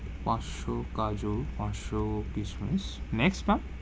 পাঁচসো কাজু, পাঁচসো কিসমিস। next ma'am,